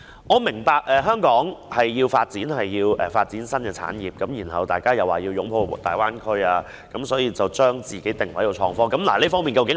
我明白香港需要發展新產業，大家又說要擁抱大灣區，於是便把自己定位在創科發展上。